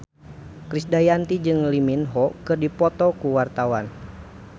Krisdayanti jeung Lee Min Ho keur dipoto ku wartawan